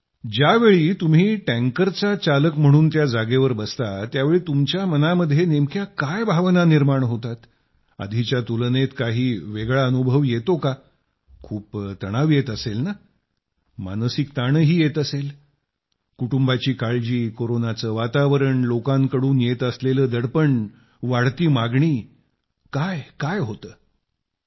ज्यावेळी तुम्ही टँकरचा चालक म्हणून त्या जागेवर बसता त्यावेळी तुमच्या मनात नेमक्या काय भावना निर्माण होतात आधीच्या तुलनेत काही वेगळा अनुभव येतो का खूप तणाव येत असेल ना मानसिक ताणही येत असेल कुटुंबाची काळजी कोरोनाचं वातावरण लोकांकडून येत असलेलं दडपण वाढती मागणी काय काय होत असेल